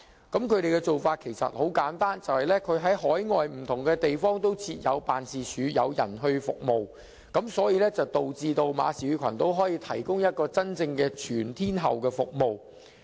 他們的做法很簡單，就是在海外不同地方設有辦事處，派人提供服務，令馬紹爾群島可以提供真正全天候的服務。